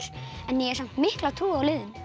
en ég hef samt mikla trú á liðinu